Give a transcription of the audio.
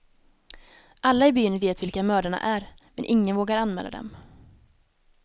Alla i byn vet vilka mördarna är, men ingen vågar anmäla dem.